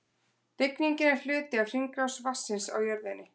Rigningin er hluti af hringrás vatnsins á jörðinni.